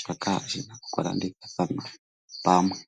shoka shi na okulandithathanwa pamwe.